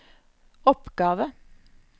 oppgave